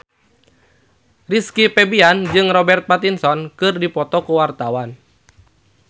Rizky Febian jeung Robert Pattinson keur dipoto ku wartawan